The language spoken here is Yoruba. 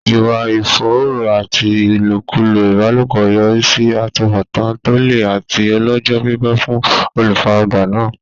Ìwà ìfòòró àti ìlòkulò ìbálòpọ̀ yọrí sí àtúbọ̀tán tó le àti ọlọ́jọ́-pípẹ́ fún olùfaragbá náà.